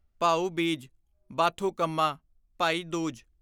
Bhau Beej Bathukamma Bhai Dooj